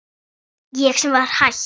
Ég sem var hætt.